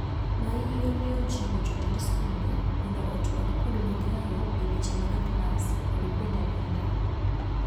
Maiyo neojiwo jotend skunde mondo otwag kod migao e weche mag klas kod kuonde nindo.